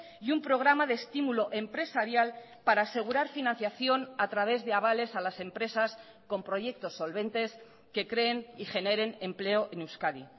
y un programa de estímulo empresarial para asegurar financiación a través de avales a las empresas con proyectos solventes que creen y generen empleo en euskadi